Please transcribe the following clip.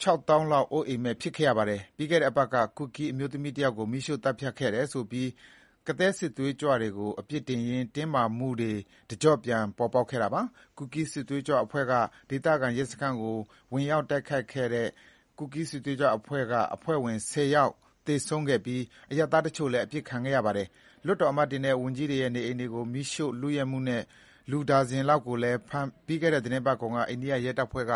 ခြောက်သောင်းလောက် အိုးမဲ့အိမ်မဲ့ ဖြစ်ခဲ့ရပါတယ်။ ပြီးခဲ့တဲ့အပတ်က ကူကီး အမျိုးသမီးတယောက်ကိုမီးရှို့သတ်ဖြတ်ခဲ့တယ်ဆိုပြီး ကသည်းစစ်သွေးကြွ တွေကို အပြစ်တင်ရင်း တင်းမာမှုတွေ တကြော့ပြန် ပေါ်ပေါက်ခဲ့တာပါ။ ဒေသခံရဲစခန်းကိုဝင်တိုက်ခဲ့တဲ့ ကူကီးစစ်သွေးကြွအဖွဲ့ဝင် ၁၀ ယောက်သေဆုံးခဲ့ပြီး အရပ်သားတချို့လည်း အသတ်ခံခဲ့ရပါတယ်။ လွှတ်တော်အမတ်တွေနဲ့ဝန်ကြီးတွေရဲ့ နေအိမ်တွေကို မီးရှို့လုယက်မှုနဲ့ လူ နှစ်ဒါဇင်လောက်ကိုလည်း ပြီးခဲ့တဲ့ သီတင်းပတ်ကုန်က အိန္ဒိယရဲတွေက